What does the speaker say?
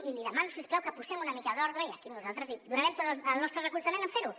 i li demano si us plau que posem una mica d’ordre i aquí nosaltres donarem tot el nostre recolzament en fer ho